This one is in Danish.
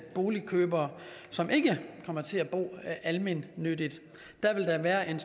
boligkøbere som ikke kommer til at bo almennyttigt der vil der være en